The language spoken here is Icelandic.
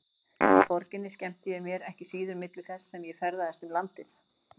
Í borginni skemmti ég mér ekki síður milli þess sem ég ferðaðist um landið.